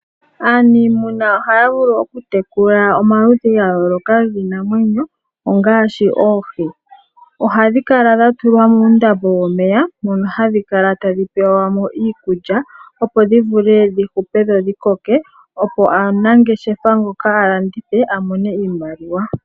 Aaniimuna ohaya vulu okutekula omaludhi gayooloka giinamwenyo ongaashi, oohi. Ohadhi kala dhatulwa muundambo womeya mono hadhi kala tadhi pewamo iikulya opo dhivule dhihupe dho dhikoke opo aanangeshefa mboka alandithe amone iimaliwa.